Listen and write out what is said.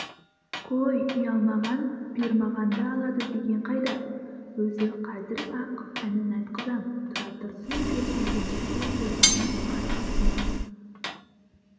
қой ұялмаған бұйырмағанды алады деген қайда өзі қазір-ақ әнін айтқызам тұра тұрсын деп әлпеншекке тоғжанның қарсысына